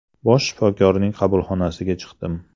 Bosh shifokorning qabulxonasiga chiqdim.